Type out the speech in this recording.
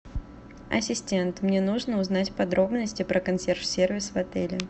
ассистент мне нужно узнать подробности про консьерж сервис в отеле